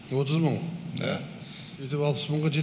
отыз мың да сөйтіп алпыс мыңға жет